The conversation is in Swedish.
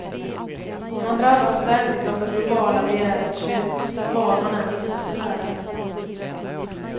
Man drabbas ständigt av det globala begärets tjut, var man än vistas i världen.